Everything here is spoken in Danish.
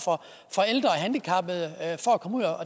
handicappede